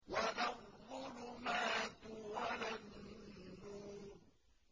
وَلَا الظُّلُمَاتُ وَلَا النُّورُ